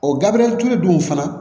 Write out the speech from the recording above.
O gabriyali ture dun fana